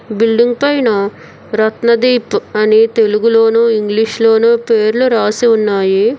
Building పైన రత్నదీప్ అనే తెలుగులోనూ ఇంగ్లీషులోనూ పేర్లు రాసి ఉన్నాయి.